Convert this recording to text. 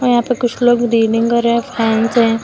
यहां पे कुछ लोग कर रहे हैं फैंस हैं।